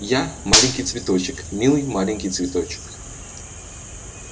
я маленький цветочек милый маленький цветочек